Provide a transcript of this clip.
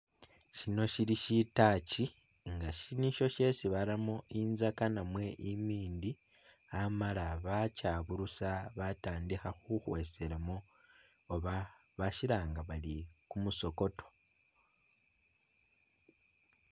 Shino shili shitachi nga ishi nisho shesi baramo i'nzaka namwe imindi amala bakyaburusa batandikha khukhweselamo oba bashilanga bali kumusokoto